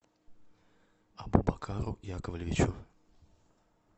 абубакару яковлевичу